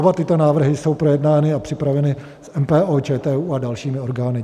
Oba tyto návrhy jsou projednány a připraveny s MPO, ČTÚ a dalšími orgány.